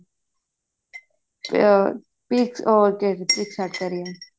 ਅਹ picture ਉਹ ਖਦੀ picture art ਕਿਹ ਰਹੀ ਹਾਂ ਮੈਂ